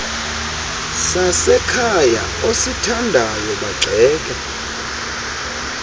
sasekhaya osithandayo bagxeke